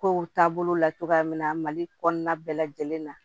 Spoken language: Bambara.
Kow taabolo la cogoya min na mali kɔnɔna bɛɛ lajɛlen na